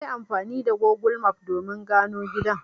Nayi amfani da Gogul maf domin gano gidan.